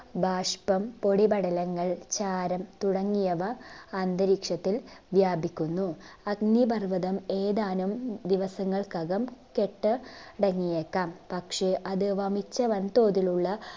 ബാഷ്പം പൊടിപടലങ്ങൾ ചാരം തുടങ്ങിയവ അന്തരീക്ഷത്തിൽ വ്യാപിക്കുന്നു. അഗ്നിപർവ്വതം ഏതാനും ദിവസങ്ങൾക്കകം കെട്ട് അടങ്ങിയേക്കാം പക്ഷെ അത് വമിച്ച വൻതോതിലുള്ള